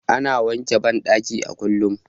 Ana wanke bandaki a kullum